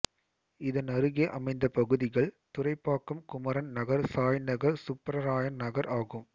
இதனருகே அமைந்த பகுதிகள் துறைப்பாக்கம் குமரன் நகர் சாய்நகர் சுப்பராயன் நகர் ஆகும்